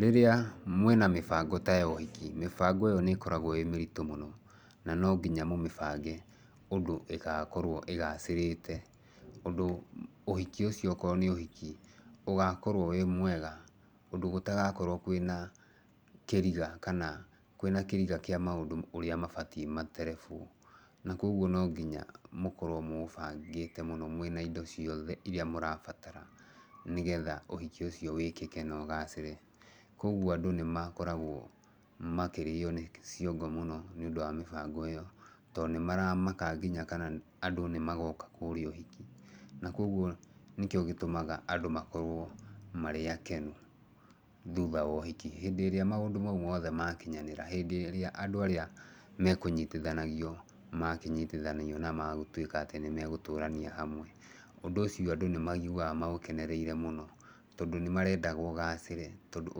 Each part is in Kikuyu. Rĩrĩa mwĩna mĩbango ta ya ũhiki, mĩbango ĩyo nĩ ĩkoragwo ĩĩ mĩritũ mũno, na no nginya mũmĩbange ũndũ ĩgakorwo ĩgacĩrĩte. Ũndũ ũhiki ũcio okorwo nĩ ũhiki, ũgakorwo wĩ mwega, ũndũ gũtagakorwo kwĩna kĩriga kana kwĩna kĩriga kĩa maũndũ ũrĩa mabatiĩ materebwo. Na kũguo no nginya, mũkorwo mũũbangĩte mũno mwĩna indo ciothe irĩa mũrabatara nĩgetha ũhiki ũcio wĩkĩke na ũgacĩre. Koguo andũ nĩ makoragwo makĩrĩo nĩ ciongo mũno nĩ ũndũ wa mĩbango ĩyo, to nĩ maramaka nginya kana andũ nĩ magoka kũrĩa ũhiki. Na koguo nĩkĩo gĩtũmaga andũ makorwo marĩ akenu thutha wa ũhiki. Hĩndĩ ĩrĩa maũndũ mau mothe makinyanĩra, hĩndĩ ĩrĩa andũ arĩa mekũnyitithanagio, makĩnyitithanio na magĩtuĩka atĩ nĩ megũtũrania hamwe, ũndũ ũcio andũ nĩ maiguaga maũkenereire mũno. Tondũ nĩ marendaga ũgacĩre, tondũ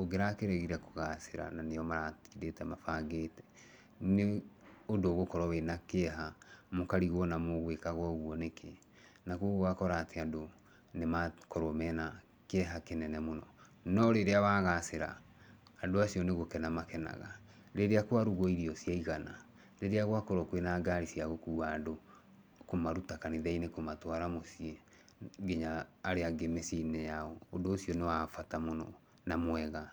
ũngĩrakĩregire kũgacĩra na nĩo maratindĩte mabangĩte, nĩ ũndũ ũgũkorwo wĩna kĩeha, mũkarigwo ona mũgũĩkaga ũguo nĩkĩ. Na koguo ũgakora atĩ andũ nĩ makorwo mena kĩeha kĩnene mũno. No rĩrĩa wagacĩra, andũ acio nĩ gũkena makenaga. Rĩrĩa kwaruguo irio ciaigana, rĩrĩa gwakorwo kwĩna ngari cia gũkua andũ kũmaruta kanitha-inĩ kũmatũara mũciĩ nginya arĩa angĩ mĩciĩ-inĩ yao, ũndũ ũcio nĩ wa bata mũno na mwega.